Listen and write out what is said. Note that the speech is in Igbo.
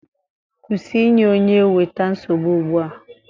Kwụsị inye onye weta nsogbu ugbu a!